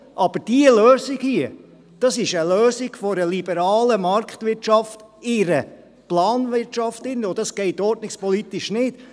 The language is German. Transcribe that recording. Aber diese Lösung hier ist die Lösung einer liberalen Marktwirtschaft in einer Planwirtschaft drin, und das geht ordnungspolitisch nicht.